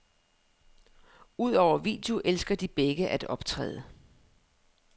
Udover video elsker de begge at optræde.